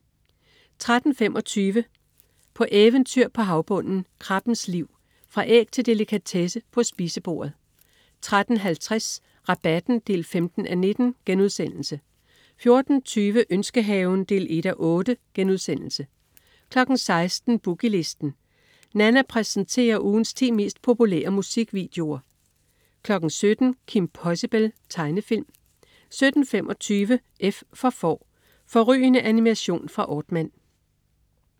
13.25 På eventyr på havbunden. Krabbens liv. Fra æg til delikatesse på spisebordet 13.50 Rabatten 15:19* 14.20 Ønskehaven 1:8* 16.00 Boogie Listen. Nanna præsenterer ugens ti mest populære musikvideoer 17.00 Kim Possible. Tegnefilm 17.25 F for Får. Fårrygende animation fra Aardman